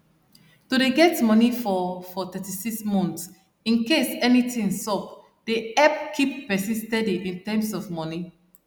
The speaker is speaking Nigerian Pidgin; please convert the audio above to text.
to dey get money for for 36 month incase anything sup dey help keep person steady in terms of money